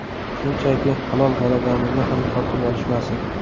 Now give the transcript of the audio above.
Shunchaki, halol g‘alabamizni ham tortib olishmasin.